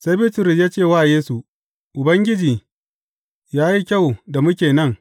Sai Bitrus ya ce wa Yesu, Ubangiji, ya yi kyau da muke nan.